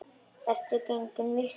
Ertu genginn af vitinu?